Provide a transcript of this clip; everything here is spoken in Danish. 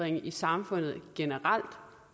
i samfundet generelt